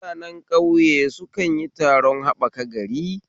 Mutane ƙauye su kanyi taron haɓaka gari